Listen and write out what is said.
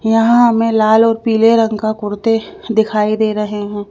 यहां हमें लाल और पीले रंग का कुर्ते दिखाई दे रहे हैं।